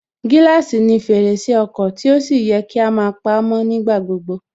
Gíláàsì ni fèrèsé ọkọ̀ tí ó sì yẹ kí á máa pamó nígbà gbogbo